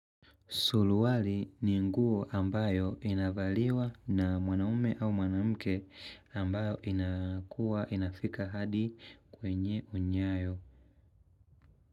Suruali ni nguo ambayo inavaliwa na mwanaume au mwanamke ambayo inakuwa inafika hadi kwenye unyayo.